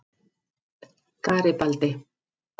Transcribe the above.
Garibaldi